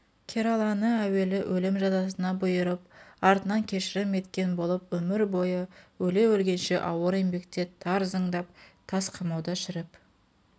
кераланы әуелі өлім жазасына бұйырып артынан кешірім еткен болып өмір бойы өле-өлгенше ауыр еңбекте тар зындан тас қамауда шіріп